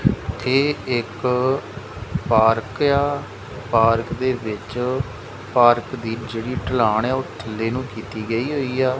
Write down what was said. ਇੱਥੇ ਇੱਕ ਪਾਰਕ ਆ ਪਾਰਕ ਦੇ ਵਿੱਚ ਪਾਰਕ ਦੀ ਜਿਹੜੀ ਢਲਾਣ ਐ ਉਹ ਥੱਲੇ ਨੂੰ ਕੀਤੀ ਗਈ ਹੋਈ ਆ।